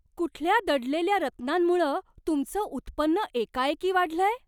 कुठल्या दडलेल्या रत्नांमुळं तुमचं उत्पन्न एकाएकी वाढलंय?